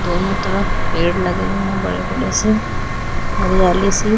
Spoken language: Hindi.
दोनो तरफ पेड़ लगे हुए हुए है बड़े बड़े से हरीयालीसी --